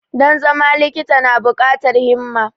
Don zama likita na bukatar himma.